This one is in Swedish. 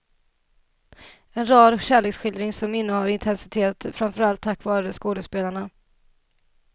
En rar kärleksskildring som innehar intensitet framför allt tack vare skådespelarna.